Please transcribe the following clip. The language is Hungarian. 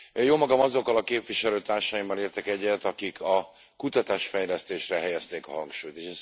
Jómagam azokkal a képviselőtársaimmal értek egyet, akik a kutatás fejlesztésre helyezték a hangsúlyt.